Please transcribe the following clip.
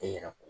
E yɛrɛ